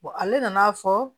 ale nan'a fɔ